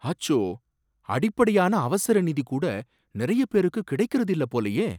அச்சோ! அடிப்படையான அவசர நிதி கூட நிறைய பேருக்கு கிடைக்கறது இல்ல போலயே!